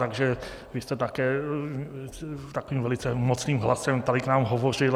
Takže vy jste také takovým velice mocným hlasem tady k nám hovořil.